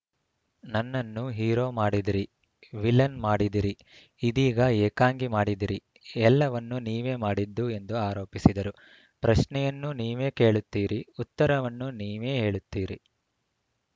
ನನ್ನನ್ನು ಹೀರೋ ಮಾಡಿದಿರಿ ವಿಲನ್‌ ಮಾಡಿದಿರಿ ಇದೀಗ ಏಕಾಂಗಿ ಮಾಡಿದಿರಿ ಎಲ್ಲವನ್ನೂ ನೀವೇ ಮಾಡಿದ್ದು ಎಂದು ಆರೋಪಿಸಿದರು ಪ್ರಶ್ನೆಯನ್ನೂ ನೀವೇ ಕೇಳುತ್ತೀರಿ ಉತ್ತರವನ್ನೂ ನೀವೇ ಹೇಳುತ್ತೀರಿ